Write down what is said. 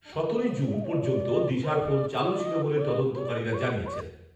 সতেরোই জুন পর্যন্ত দিশার ফোন চালু ছিল বলে তদন্তকারীরা জানিয়েছেন।